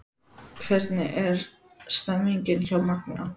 Hvernig er stemningin hjá Magna?